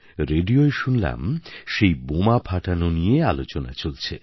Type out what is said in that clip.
রেডিওয় শুনলাম সেই বোমা ফাটানো নিয়ে আলোচনা চলছে